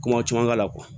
Ko caman k'a la